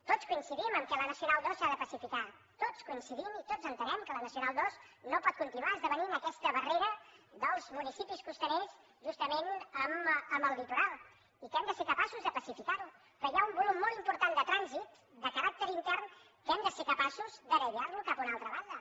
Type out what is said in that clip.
tots coincidim amb el fet que la nacional ii s’ha de pacificar tots hi coincidim i tots entenem que la nacional ii no pot continuar esdevenint aquesta barrera dels municipis costaners justament amb el litoral i que hem de ser capaços de pacificar ho però hi ha un volum molt important de trànsit de caràcter intern que hem de ser capaços de derivar lo cap a una altra banda